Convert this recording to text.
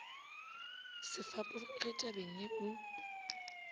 se fapoge tabeng ye o